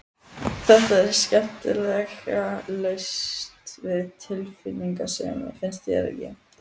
Þetta er skemmtilega laust við tilfinningasemi, finnst þér ekki?